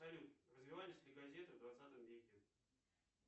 салют развивались ли газеты в двадцатом веке